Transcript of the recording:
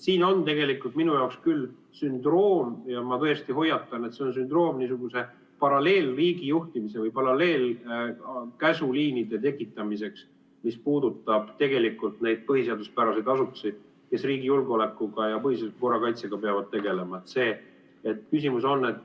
Siin on minu jaoks küll sündroom ja ma tõesti hoiatan, et see on sündroom niisuguse paralleelriigijuhtimise või paralleelkäsuliinide tekitamiseks, mis puudutab tegelikult neid põhiseaduspäraseid asutusi, kes riigi julgeolekuga ja põhiseadusliku korra kaitsega peavad tegelema.